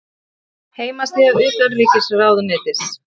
Heimasíða utanríkisráðuneytisins.